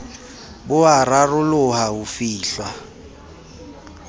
bo a raroloha ho fihlwa